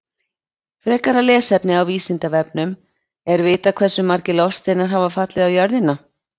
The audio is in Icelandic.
Frekara lesefni á Vísindavefnum Er vitað hversu margir loftsteinar hafa fallið á jörðina?